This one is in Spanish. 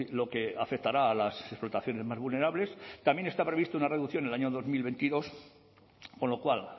lo que afectará a las explotaciones más vulnerables también está prevista una reducción en el año dos mil veintidós con lo cual